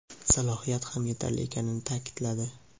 salohiyat ham yetarli ekanini ta’kidladi.